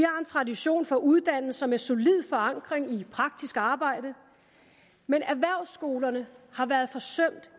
tradition for uddannelser med solid forankring i praktisk arbejde men erhvervsskolerne har været forsømt